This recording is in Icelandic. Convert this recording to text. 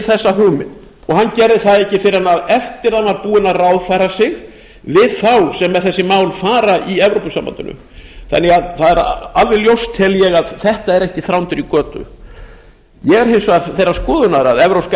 þessa hugmynd hann gerði það ekki fyrr en eftir að hann var búinn að ráðfæra sig við þá sem með þessi mála fara í evrópusambandinu ég tel það því alveg ljóst að þetta er ekki þrándur í götu ég er hins vegar þeirrar skoðunar að evrópska